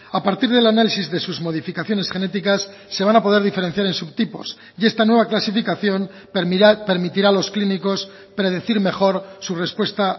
a partir del análisis de sus modificaciones genéticas se van a poder diferenciar en subtipos y esta nueva clasificación permitirá a los clínicos predecir mejor su respuesta